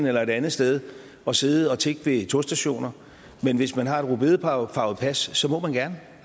eller et andet sted og sidde og tigge ved togstationer men hvis man har et rødbedefarvet pas så må man gerne